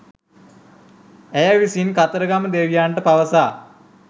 ඇය විසින් කතරගම දෙවියන්ට පවසා